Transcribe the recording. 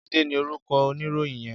Jide ni órúkò óniróyin yèn